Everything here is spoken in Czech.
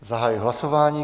Zahajuji hlasování.